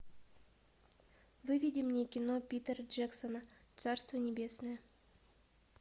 выведи мне кино питера джексона царство небесное